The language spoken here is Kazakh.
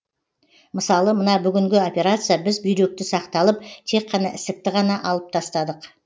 мысалы мына бүгінгі операция біз бүйректі сақталып тек қана ісікті ғана алып тастадық